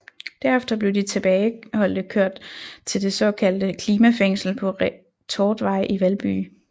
Derefter blev de tilbageholdte kørt til det såkaldte klimafængsel på Retortvej i Valby